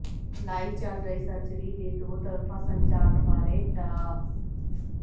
live ਚਲ ਰਹੀ surgery ਦੇ ਦੋ ਤਰਫਾ ਸੰਚਾਰਣ ਬਾਰੇ ਡਾ